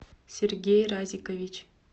сергей разикович